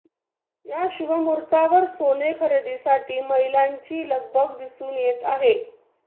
या शुभमुहूर्तावर सोने खरेदासाठी महिलांची लगबग दिसून येत आहे